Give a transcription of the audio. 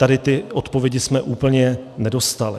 Tady ty odpovědi jsme úplně nedostali.